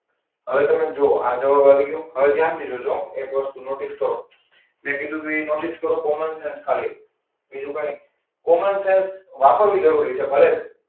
હવે તમે જુઓ આ જવાબ આવી ગયો. હવે ધ્યાનથી જોજો એક વસ્તુ નોટિસ કરો. મેં કીધું હતું એ નોટિસ કરો કોમન છે ને ખાલી બીજું કંઈ કોમન સેન્સ વાપરવી જરૂરી છે. ભલે,